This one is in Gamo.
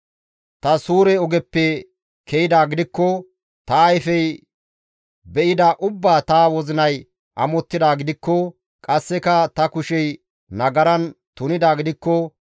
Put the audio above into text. Ta suure ogeppe ke7idaa gidikko, Ta ayfey be7ida ubbaa ta wozinay amottidaa gidikko, qasseka ta kushey nagaran tunidaa gidikko,